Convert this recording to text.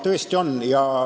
Tõesti on.